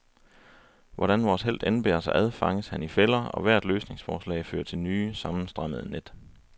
Hvordan vores helt end bærer sig ad, fanges han i fælder, og hvert løsningsforsøg fører til nye, sammenstrammede net.